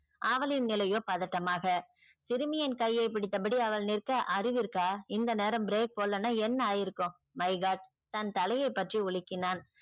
அவளின் நிலையோ பதட்டமாக சிறுமியின் கையை பிடித்தபடி அவள் நிற்க அறிவு இருக்கா இந்த நேரம் break போடலனா என்ன ஆயிருக்கும் my god தன் தலையை பற்றி உலுக்கினான்.